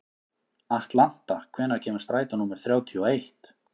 Atlanta, hvenær kemur strætó númer þrjátíu og eitt?